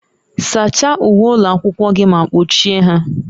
Sachaa uwe ụlọ akwụkwọ gị ma kpochie ha